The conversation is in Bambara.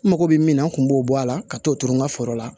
N mago bɛ min na n kun b'o bɔ a la ka t'o turu n ka foro la